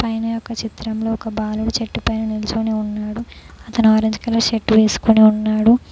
పైన యొక్క చిత్రంలో ఒక బాలుడు చెట్టు పైన నిల్చొని ఉన్నాడు అతను ఆరెంజ్ కలర్ షర్ట్ వెస్కొని ఉన్నాడు.